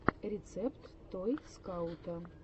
рецепт той скаута